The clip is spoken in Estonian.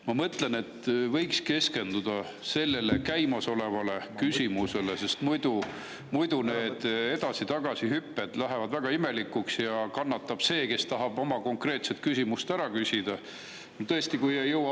Ma mõtlen, et võiks keskenduda käimasolevale küsimusele, sest muidu need edasi-tagasi hüpped lähevad väga imelikuks ja kannatab see, kes tahab oma konkreetsele küsimusele.